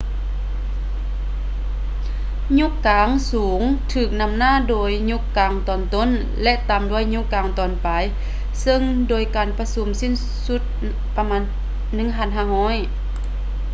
ຍຸກກາງສູງຖືກນໍາໜ້າດ້ວຍຍຸກກາງຕອນຕົ້ນ ແລະ ຕາມດ້ວຍຍຸກກາງຕອນປາຍເຊິ່ງໂດຍການປະຊຸມສີ້ນສຸດປະມານ 1500